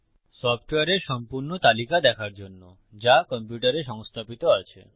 সফ্টওয়্যারের সম্পূর্ণ তালিকা দেখার জন্য যা কম্পিউটারে সংস্থাপিত আছে